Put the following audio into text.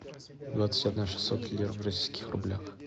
двадцать одна шестьсот лир в российских рублях